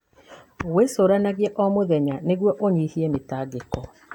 Wĩcũranagie o mũthenya nĩguo ũnyihanyihie mĩtangĩko.